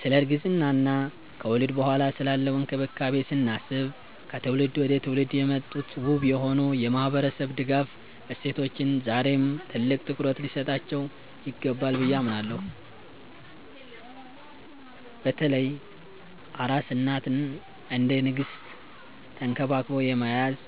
ስለ እርግዝና እና ከወሊድ በኋላ ስላለው እንክብካቤ ስናስብ፣ ከትውልድ ወደ ትውልድ የመጡት ውብ የሆኑ የማህበረሰብ ድጋፍ እሴቶቻችን ዛሬም ትልቅ ትኩረት ሊሰጣቸው ይገባል ብዬ አምናለሁ። በተለይ አራስ እናትን እንደ ንግስት ተንክባክቦ የመያዝ፣